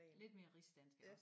Lidt mere rigsdansk iggås